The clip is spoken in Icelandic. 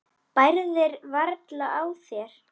Bærðir varla á þér.